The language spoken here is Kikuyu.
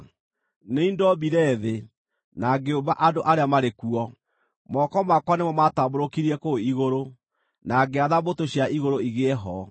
Nĩ niĩ ndombire thĩ, na ngĩũmba andũ arĩa marĩ kuo. Moko makwa nĩmo maatambũrũkirie kũu igũrũ, na ngĩatha mbũtũ cia igũrũ igĩe ho.